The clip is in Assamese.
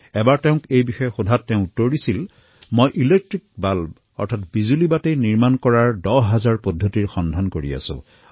এবাৰ তেওঁক এই বিষয়ে সোধাত তেওঁ এইদৰে কলে মই লাইট বাল্ব নিৰ্মাণ কৰিব নোৱাৰাৰ দহ হাজাৰটা প্ৰক্ৰিয়া সন্ধান কৰিছোঁ